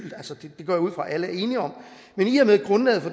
det går jeg ud fra alle er enige om